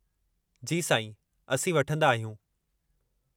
जी साईं, असीं वठंदा आहियूं।